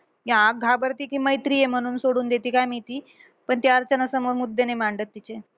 हा घाबरती कि मैत्री आहे म्हणून सोडून देती काय माहिती. पण ती अर्चनासमोर मुद्दे नाही मांडत तिचे.